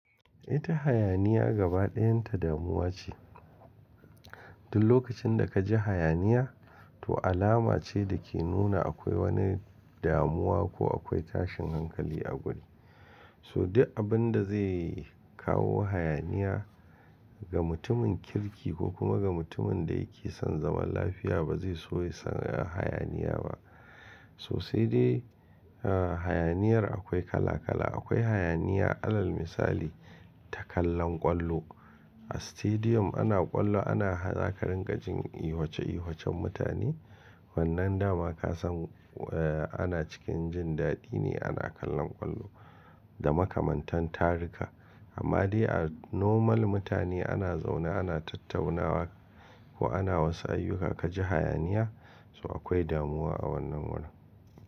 Ita hayaniya gaba ɗayan ta damuwa ce. Duk lokacin da ka ji hayaniya to alama ce da ke nuna akwai wani damuwa ko akwai tashin hankali a guri. So duk abun da zai kawo hayaniya ga mutumin kirki ko kuma ga mutumin da yake son zaman lafiya ba zai so ya san hayaniya ba. To sai dai, ah hayaniyar akwai kala kala. Akwai hayaniya alal misali ta kallon ƙwallo. A stadium ana ƙwallo ana za ƙa rin gajin ihwace ihwacen mutane. Wannan dama ka san eh ana cikin jin daɗi ne ana kallon ƙwallo da makamantan tarika. Amma dai a normal mutane ana zaune ana tattaunawa ko ana wasu ayyuka ka ji hayaniya so akwai damuwa a wannan wurin.